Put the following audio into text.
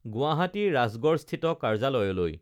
গুৱাহাটী ৰাজগড়স্থিত কাৰ্যালয়লৈ